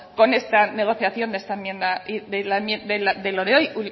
con esta negociación de esta enmienda de lo de hoy